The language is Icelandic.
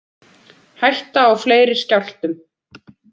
Hætta á fleiri skjálftum